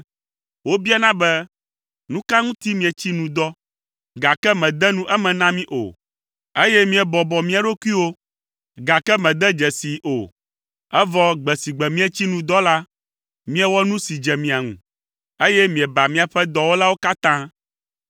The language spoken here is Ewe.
Wobiana be, ‘Nu ka ŋuti míetsi nu dɔ, gake mède nu eme na mí o, eye míebɔbɔ mia ɖokuiwo, gake mède dze sii o?’ “Evɔ gbe si gbe mietsi nu dɔ la, miewɔ nu si dze mia ŋu, eye mieba miaƒe dɔwɔlawo katã.